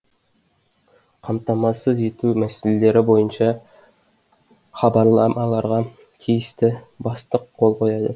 қамтамасыз ету мәселелері бойынша хабарламаларға тиісті бастық қол қояды